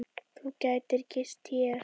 Þú gætir gist hér.